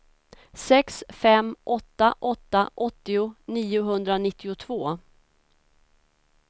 sex fem åtta åtta åttio niohundranittiotvå